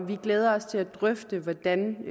vi glæder os til at drøfte hvordan